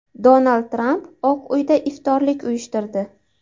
Donald Tramp Oq uyda iftorlik uyushtirdi .